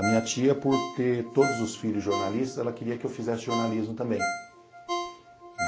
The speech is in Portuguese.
A minha tia, por ter todos os filhos jornalistas, ela queria que eu fizesse jornalismo também.